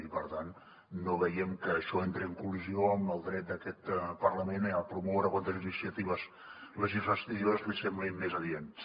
i per tant no veiem que això entri en collisió amb el dret d’aquest parlament a promoure quantes iniciatives legislatives li semblin més adients